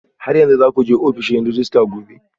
Har yanzu za ku je ofishin rejista gobe?